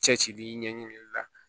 Cɛ cili ɲɛɲinili la